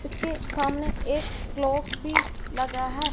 इसके सामने एक क्लॉक भी लगा है।